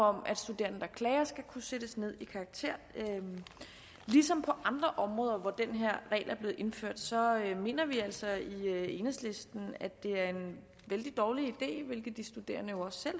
om at studerende der klager skal kunne sættes ned i karakter ligesom på andre områder hvor den her regel er blevet indført mener vi altså i enhedslisten at det er en vældig dårlig idé hvilket de studerende jo også